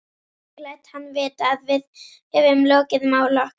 Ég læt hann vita, að við höfum lokið máli okkar.